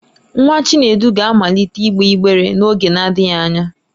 Nwa Chinedu ga-amalite ịgbe ịgbere n'oge adịghị anya.